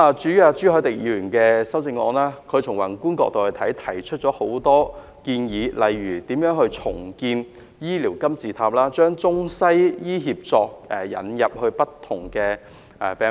至於朱凱廸議員的修正案，從宏觀的角度提出了多項建議，例如如何重構"醫療金字塔"及將中西醫協作引入不同病科等。